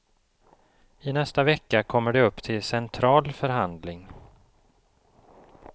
I nästa vecka kommer det upp till central förhandling.